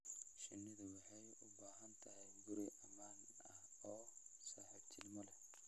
Shinnidu waxay u baahan tahay guri ammaan ah oo saaxiibtinimo leh.